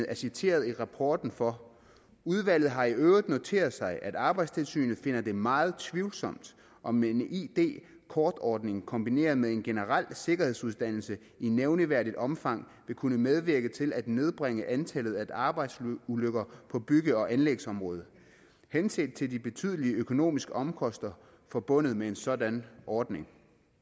er citeret i rapporten for udvalget har i øvrigt noteret sig at arbejdstilsynet finder det meget tvivlsomt om en id kortordning kombineret med en generel sikkerhedsuddannelse i nævneværdigt omfang vil kunne medvirke til at nedbringe antallet af arbejdsulykker på bygge og anlægsområdet henset til de betydelige økonomiske omkostninger forbundet med en sådan ordning